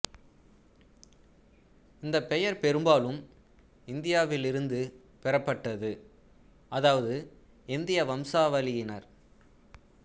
இந்த பெயர் பெரும்பாலும் இந்தியாவிலிருந்து பெறப்பட்டது அதாவது இந்திய வம்சாவளியினர்